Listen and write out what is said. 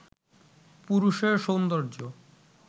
পুরুষের সৌন্দর্য